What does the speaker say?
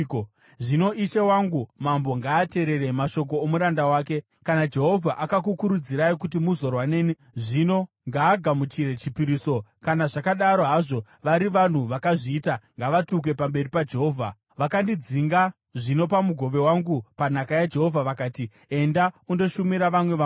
Zvino ishe wangu mambo ngaateerere mashoko omuranda wake. Kana Jehovha akakukurudzirai kuti muzorwa neni, zvino ngaagamuchire chipiriso. Kana, zvakadaro hazvo, vari vanhu vakazviita, ngavatukwe pamberi paJehovha! Vakandidzinga zvino pamugove wangu panhaka yaJehovha vakati, ‘Enda undoshumira vamwe vamwari.’